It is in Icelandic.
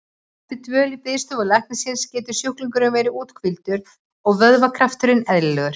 Eftir dvöl í biðstofu læknisins getur sjúklingurinn verið úthvíldur og vöðvakrafturinn eðlilegur.